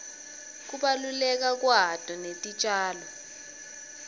kubaluleka kwato netitjalo